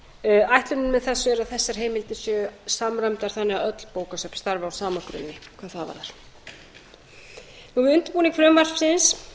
með þessu er að þessar heimildir séu samræmdar þannig að öll bókasöfn starfi á sama grunni hvað það varðar við undirbúning frumvarpsins